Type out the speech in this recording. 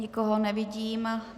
Nikoho nevidím.